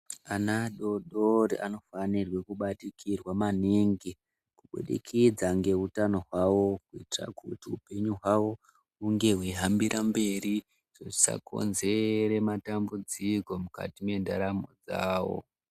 Ana adodori anofanirwe kubatikirwa maningi kubudikidza ngeutano hwawo kuitira kuti upenyu hwawo hunge hweihambira mberi zvisakonzere matambudziko mukati mwendaramo dzawo.